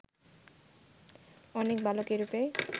অনেক বালক এইরূপেই